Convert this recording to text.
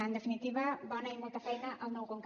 en definitiva bona i molta feina al nou conca